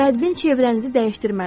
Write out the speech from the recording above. Bədbin çevrənizi dəyişdirməlisiz.